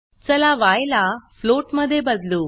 चला य ला फ्लोट मध्ये बदलू